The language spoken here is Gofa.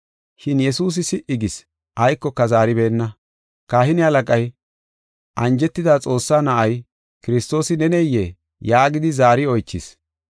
Shin Yesuusi si77i gis; aykoka zaaribeenna. Kahine halaqay, “Anjetida Xoossaa Na7ay, Kiristoosi neneyee?” yaagidi zaari oychis.